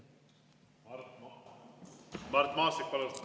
Mart Maastik, palun!